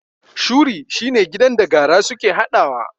Shuri shine gidan da gara suke haɗawa